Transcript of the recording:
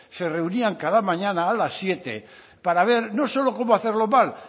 se reunían cada mañana a las siete para ver no solo cómo hacerlo mal